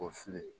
O fili ye